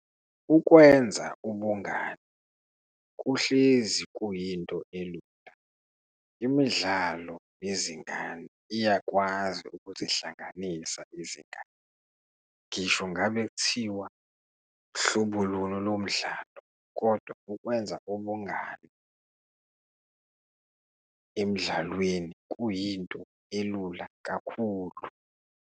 Ukwenza ubungani kuhlezi kuyinto elula. Imidlalo yezingane iyakwazi ukuzihlanganisa izingane ngisho ngabe kuthiwa hlobo luni lomdlalo kodwa ukwenza ubungani emdlalweni kuyinto elula kakhulu.